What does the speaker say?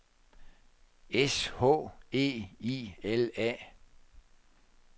S H E I L A